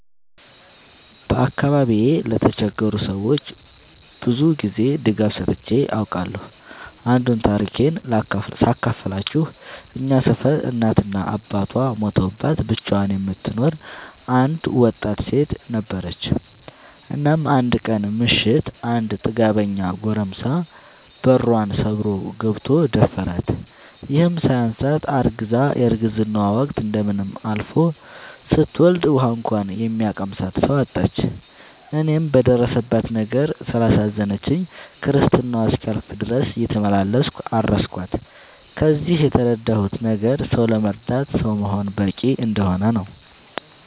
በአካባቢዬ ለተቸገሩ ሰዎች ብዙ ጊዜ ድጋፍ ሰጥቼ አውቃለሁ። አንዱን ታሪኬን ሳካፍላችሁ እኛ ሰፈር እናት እና አባቷ ሞተውባት ብቻዋን የምትኖር አንድ ወጣት ሴት ነበረች። እናም አንድ ቀን ምሽት አንድ ጥጋበኛ ጎረምሳ በሯን ሰብሮ ገብቶ ደፈራት። ይህም ሳያንሳት አርግዛ የረግዝናዋ ወቅት እንደምንም አልፎ ስትወልድ ውሀ እንኳን የሚያቀምሳት ሰው አጣች። እኔም በደረሰባት ነገር ስላሳዘነችኝ ክርስትናዋ እስኪያልፍ ድረስ እየተመላለስኩ አረስኳት። ከዚህ የተረዳሁት ነገር ሰው ለመርዳት ሰው መሆን በቂ እንደሆነ ነው።